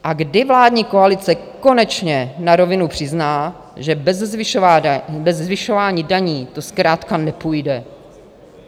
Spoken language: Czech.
A kdy vládní koalice konečně na rovinu přizná, že bez zvyšování daní to zkrátka nepůjde.